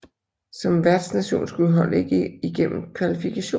Som værtnation skulle holdet ikke igennem kvalifikation